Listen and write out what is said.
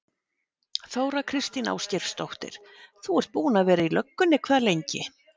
Þóra Kristín Ásgeirsdóttir: Þú ert búinn að vera í löggunni hvað lengi?